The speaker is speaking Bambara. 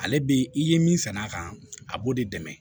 Ale be i ye min sann'a kan a b'o de dɛmɛ